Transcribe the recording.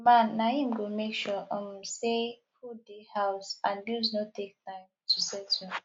di man na im go make sure um sey food dey house and bills no take time to settle